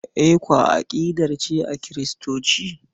ECWA aƙidar ce daban a Kiristanci.